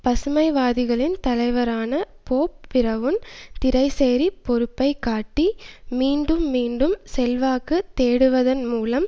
பசுமைவாதிகளின் தலைவரான Bob Brown திரைசேரிப் பொறுப்பை காட்டி மீண்டும் மீண்டும் செல்வாக்கு தேடுவதன் மூலம்